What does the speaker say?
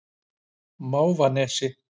Mávanesi